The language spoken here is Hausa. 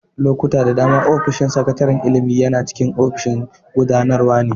Lokuta da dama, ofishin sakataren ilimi yana cikin ginin ofishin gudanarwa ne.